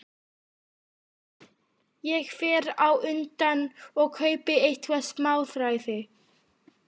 Ég fer á undan og kaupi eitthvert smáræði.